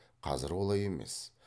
қазір олай емес